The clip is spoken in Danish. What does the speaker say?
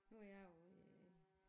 Nu er jeg jo øh